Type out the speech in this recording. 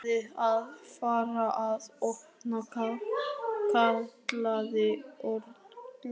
Ætlarðu að fara að opna? kallaði Örn glaðlega.